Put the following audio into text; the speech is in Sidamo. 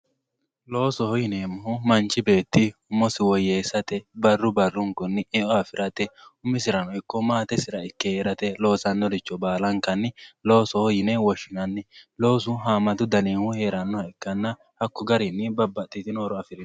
loosoho yineemohu manchi beetti umosi woyeesate barru barrunkunni e"o afirate umisirano ikko maatesira ikke heerate loosanoricho baalankanni loosoho yine woshshinanni loosu haamatu danihu heerannoha ikkanna hako garinni babbaxitino horo afiriyooho.